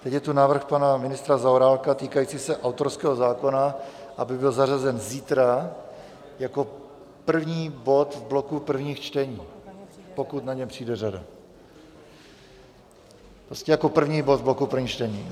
Teď je tu návrh pana ministra Zaorálka týkající se autorského zákona, aby byl zařazen zítra jako první bod v bloku prvních čtení, pokud na ně přijde řada, prostě jako první bod v bloku prvních čtení.